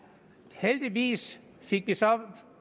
heldigvis fik vi så